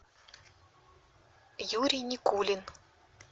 юрий никулин